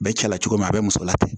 Bɛɛ cɛla cogo min na a bɛ muso la ten